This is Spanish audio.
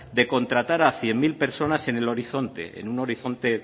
de contratar a cien mil personas en el horizonte en un horizonte